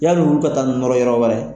Yan'olu ka taa nɔrɔ yɔrɔ wɛrɛ.